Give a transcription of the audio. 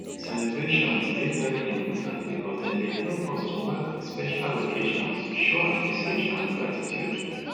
celebrations dey very important because dem dey help us to mark special occasions show appreciation and gratitude